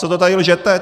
Co to tady lžete?